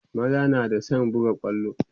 maza na da San buga kwallo